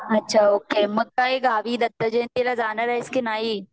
अच्छा ओके मग काय गावी दत्त जयंती ला जाणार आहेस की नाही?